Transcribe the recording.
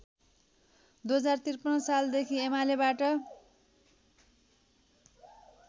२०५३ सालदेखि एमालेबाट